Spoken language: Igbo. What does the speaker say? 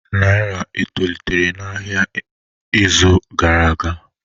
Naira etolitere n'ahịa ahịa n'izu gara aga?